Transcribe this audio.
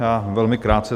Já velmi krátce.